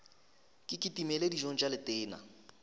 ke kitimele dijong tša letena